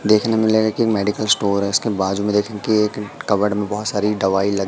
देखने मे लगेगा की मेडिकल स्टोर है इसके बाजू में देखे कि एक कबर्ड मे बहोत सारी दवाई लग--